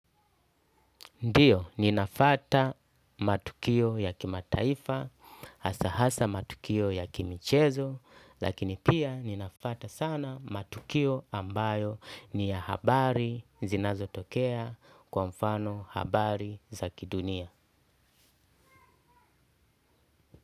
Ndiyo, ninafuata matukio ya kimataifa, hasa hasa matukio ya kimichezo, lakini pia ninafata sana matukio ambayo ni ya habari zinazotokea kwa mfano habari za kidunia.